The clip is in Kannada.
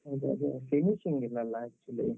ಹೌದು ಅದೇ, finishing ಇಲ್ಲ ಅಲ್ಲ actually.